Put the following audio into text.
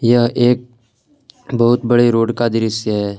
यह एक बहुत बड़ी रोड का दृश्य है।